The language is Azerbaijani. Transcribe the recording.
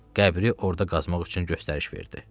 Qəbri orda qazmaq üçün göstəriş verdi.